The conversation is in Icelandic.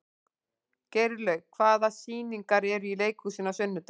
Geirlaug, hvaða sýningar eru í leikhúsinu á sunnudaginn?